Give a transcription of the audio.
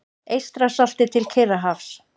Eystrasalti til Kyrrahafs.